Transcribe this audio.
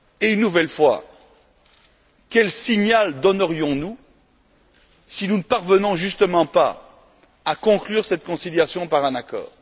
Une nouvelle fois, quel signal donnerions nous si nous ne parvenions pas à conclure cette conciliation par un accord?